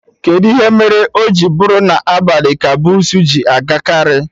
Kedụ ihe mere o ji bụrụ sọ na abalị ka bussu ji agakarị?